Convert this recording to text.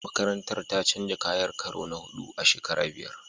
Makarantar ta canja kayan karo na huɗu a shekara biyar.